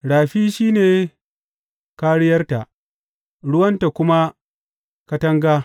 Rafi shi ne kāriyarta, ruwanta kuma katanga.